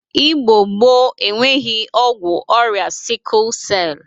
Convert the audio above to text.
Igbo gboo enweghi ọgwụ ọrịa sịkụl sel.